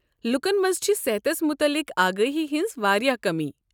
لوٗکن منٛز چھےٚ صحتس متعلق آگٲہی ہنٛز واریاہ کٔمی۔